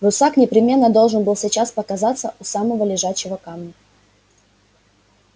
русак непременно должен был сейчас показаться у самого лежачего камня